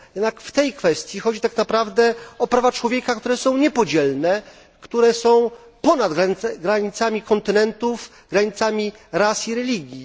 Jednak w tej kwestii chodzi tak naprawdę o prawa człowieka, które są niepodzielne, które są ponad granicami kontynentów, granicami ras i religii.